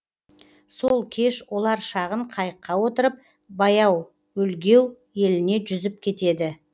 сол кеш олар шағын қайыққа отырып баяуөлгеу еліне жүзіп кетеді